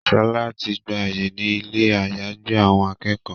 Shola tí gbà àyè ní Ilé àyágbé àwọn akẹ́kọ̀ọ́.